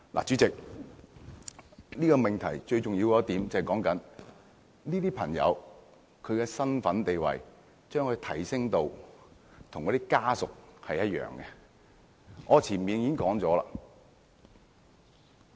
主席，這個命題最重要的一點就是，這些同性伴侶的身份地位，是否應提升至與親屬一樣。